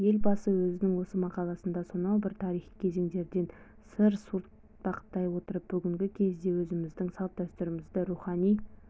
елбасы өзінің осы мақаласында сонау бір тарихи кезеңдерден сыр суыртпақтай отырып бүгінгі кезде өзіміздің салт-дәстүрлерімізді рухани